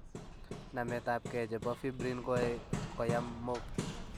Nametab gee che bo Fibrin koae koyam mook.